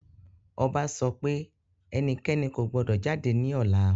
Ọba sọ pé ẹnikẹ́ni kò gbọdọ̀ jáde ní ọ̀la